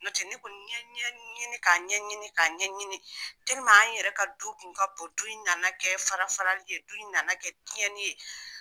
Nɔtɛ, ne kɔni y'a ɲɛɲini k'a ɲɛɲini tɛliman an yɛrɛ ka du kun ka bo, du nana kɛ farafarali ye, du in nana kɛ tiɲɛni ye.